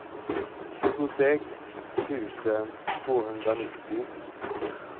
tjugosex tusen tvåhundranittio